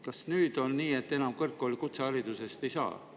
Kas nüüd on nii, et pärast kutseharidust enam kõrgkooli ei saa?